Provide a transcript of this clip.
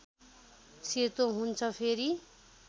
सेतो हुन्छ फेरि